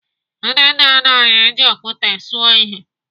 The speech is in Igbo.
Ndị nna nna anyị ji okwute suo ihe.